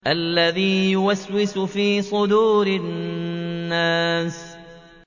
الَّذِي يُوَسْوِسُ فِي صُدُورِ النَّاسِ